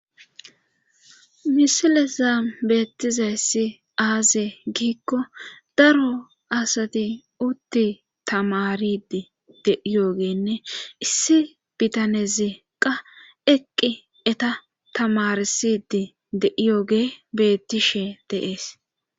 Misile zaam beettizayssi aaze giikko daro asati utti tamaridi de7iyoogenne issi bitaneziqa eqqi eta tamarsidi de.iyooge bettishe deees.